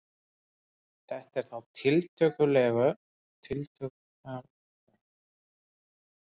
Þetta er þá tiltölulega nýr sýningarsalur á uppleið í áliti og setur markið hátt.